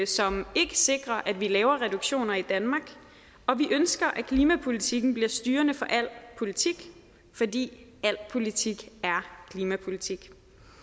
som ikke sikrer at vi laver reduktioner i danmark og vi ønsker at klimapolitikken bliver styrende for al politik fordi al politik er klimapolitik